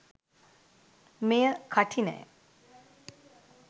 මෙය කඨිනය